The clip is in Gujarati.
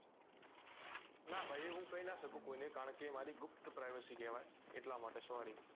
નાં એ ભાઈ હું કહી નાં કહી સકું કોઈ ને કારણ કે એ મારી ગુપ્ત privacy કેવાય એટલા માટે sorry